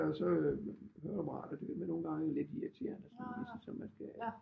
Har jeg så høreapparat og det er nogle gange lidt irriterende så man skal